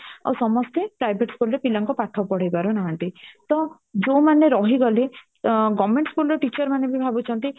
ଆଉ ସମସ୍ତେ private school ରେ ପିଲାଙ୍କୁ ପାଠପଢେଇ ପାରୁ ନାହାନ୍ତି ତ ଯୋଉମାନେ ରହି ଗଲେ government school teacher ମାନେ ବି ଭାବୁଛନ୍ତି